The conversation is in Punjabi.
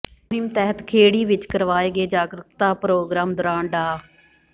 ਇਸ ਮੁਹਿੰਮ ਤਹਿਤ ਖੇੜੀ ਵਿੱਚ ਕਰਵਾਏ ਗਏ ਜਾਗਰੂਕਤਾ ਪ੍ਰੋਗਰਾਮ ਦੌਰਾਨ ਡਾ